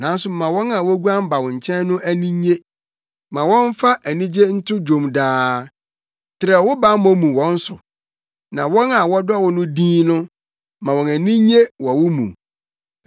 Nanso ma wɔn a woguan ba wo nkyɛn no ani nnye; ma wɔmfa anigye nto dwom daa. Trɛw wo bammɔ mu wɔ wɔn so, na wɔn a wɔdɔ wo din no ma wɔn ani nnye wɔ wo mu.